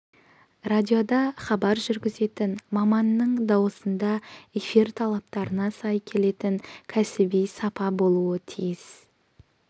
радиода хабар жүргізетін маманның дауысында эфир талаптарына сай келетін кәсіби сапа болуы тиіс